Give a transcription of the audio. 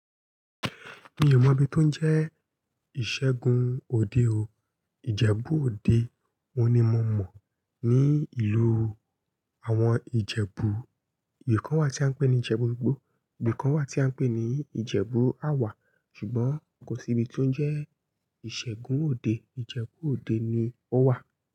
Mi ò mọ ibi tó ń jẹ́ ìṣègùn òde o. Ìjẹ̀bú òde wọ́n ni mo mọ̀ ní ìlú. Àwọn Ìjẹ̀bú, ibi kan wà tí a ń pè ní Ìjẹ̀bú-Ìgbó, ibi kan wà tí a ń pè ní Ìjẹ̀bú Àwà, ṣùgbọ́n kò sí ibi tó ń jẹ́ ìṣègùn òde, Ìjẹ̀bú òde ni ó wà.